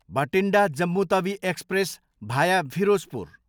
Bathinda, Jammu Tawi express, भाया फिरोजपुर